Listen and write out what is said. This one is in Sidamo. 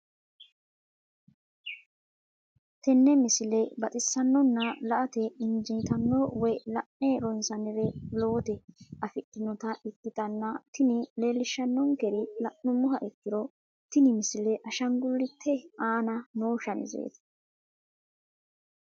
tenne misile baxisannonna la"ate injiitanno woy la'ne ronsannire lowote afidhinota ikkitanna tini leellishshannonkeri la'nummoha ikkiro tini misile ashaangullete aana noo shamizeeti.